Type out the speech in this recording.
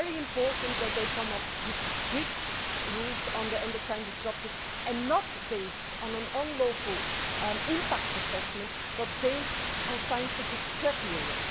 It is very important that they come up with strict rules on endocrine disruptors, not based on an unlawful impact assessment but based on scientific criteria.